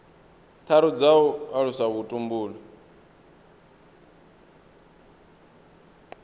tharu dza u alusa vhutumbuli